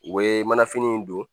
U bɛ manafini in don